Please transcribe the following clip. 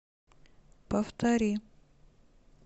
повтори